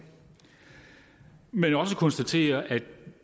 men også konstatere at